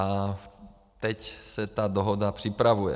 A teď se ta dohoda připravuje.